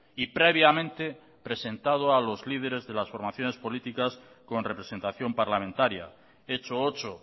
y previamente presentado a los líderes de las formaciones políticas con representación parlamentaria hecho ocho